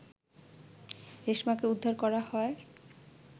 রেশমাকে উদ্ধার করা হয়